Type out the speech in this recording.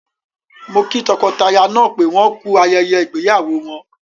Mo kí tọkọtaya náà pé wọ́n ku ayẹyẹ ìgbéyàwó wọn.